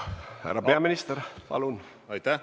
Härra peaminister, palun!